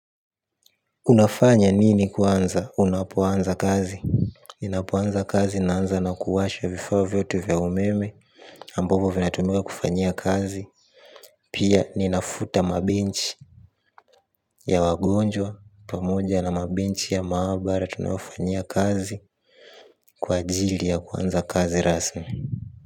Unafanya nini kwanza unapoanza kazi ninapo anza kazi naanza na kuwasha vifaa vyote vya umeme ambavyo vinatumiwa kufanyia kazi. Pia ninavuta mabench ya wagonjwa pamoja na mabench ya maabara tunayofanyia kazi. Kwa ajili ya kuanza kazi rasmi.